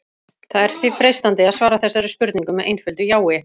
Það er því freistandi að svara þessari spurningu með einföldu jái.